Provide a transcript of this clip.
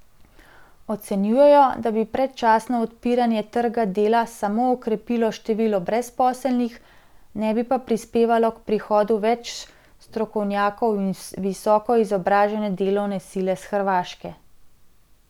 Ocenjujejo, da bi predčasno odpiranje trga dela samo okrepilo število brezposelnih, ne bi pa prispevalo k prihodu več strokovnjakov in visoko izobražene delovne sile s Hrvaške.